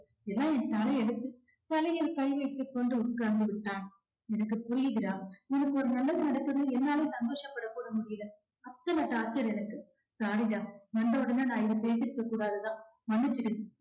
எல்லாம் என் தலையெழுத்து தலையில் கை வைத்து கொண்டு உட்கார்ந்து விட்டான் எனக்கு புரியுது டா உனக்கு ஒரு நல்லது நடக்குதுன்னு என்னால சந்தோஷப்படகூட முடியல அத்தன torture எனக்கு sorry டா வந்த உடனே நான் இதை பேசிருக்கக் கூடாதுதான் மன்னிச்சிடு